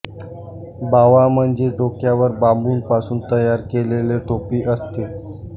बावा म्हणजे डोक्यावर बांबूपासून तयार केलेले टोपी असते